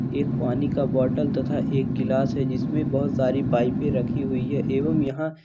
एक पानी का बोतल तथा एक गिलास है जिसमें बहुत सारी पाइपे रखी हुई है एवं यहाँ --